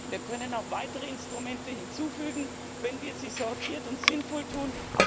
Wir können auch weitere Instrumente hinzufügen, wenn wir dies sortiert und sinnvoll tun.